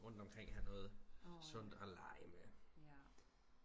rundt omkring have noget sundt og lege med